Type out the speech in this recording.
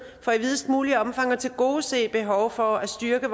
for i videst mulige omfang at tilgodese behovet for at styrke